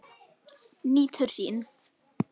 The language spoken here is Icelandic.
Nýtur sín.